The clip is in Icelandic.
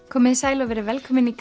komiði sæl og verið velkomin í